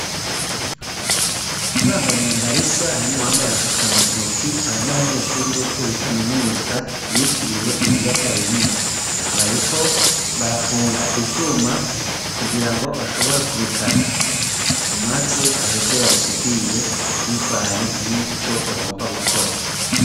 Bambaye imyambaro isa harimwo uwambaye agafukantoki, aba n'abanyeshuri bo kuri kaminuza yitiriwe ibiyaga binini, bariko barafunga ivyuma kugira ngo bashobore kubikata, maze baheze babisudire bivanye n'ico bagomba gukora.